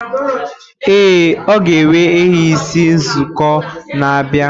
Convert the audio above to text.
Ee, ọ ga enwe ehi isii n'izuụka na abia.